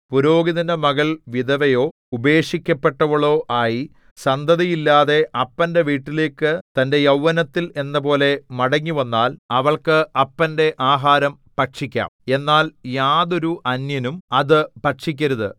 പുരോഹിതന്റെ മകൾ വിധവയോ ഉപേക്ഷിക്കപ്പെട്ടവളോ ആയി സന്തതിയില്ലാതെ അപ്പന്റെ വീട്ടിലേക്കു തന്റെ യൗവനത്തിൽ എന്നപോലെ മടങ്ങിവന്നാൽ അവൾക്ക് അപ്പന്റെ ആഹാരം ഭക്ഷിക്കാം എന്നാൽ യാതൊരു അന്യനും അത് ഭക്ഷിക്കരുത്